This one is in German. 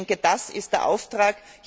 Ich denke, das ist der Auftrag.